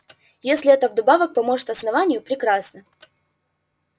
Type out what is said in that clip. если это вдобавок поможет основанию прекрасно